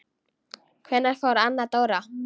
Hvenær fór Anna Dóra?